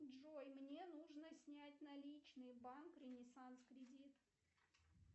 джой мне нужно снять наличные банк ренессанс кредит